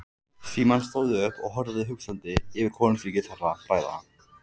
Símon stóð upp og horfði hugsandi yfir konungsríki þeirra bræðra.